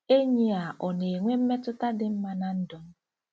Enyi a ọ̀ na-enwe mmetụta dị mma ná ndụ m? '